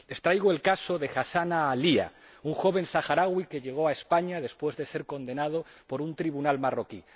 Les traigo el caso de Hassanna Aalia, un joven saharaui que llegó a España después de ser condenado por un tribunal marroquí.